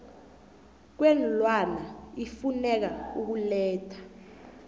kweenlwana ifuneka ukuletha